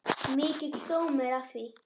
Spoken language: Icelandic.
Mikill sómi er að því.